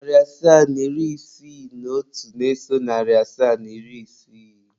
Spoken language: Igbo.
Narị asaa na iri isii na otu na-eso narị asaa na iri isii.